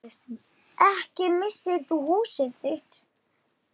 Ekki missir þú húsið þitt.